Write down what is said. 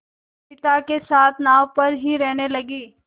पिता के साथ नाव पर ही रहने लगी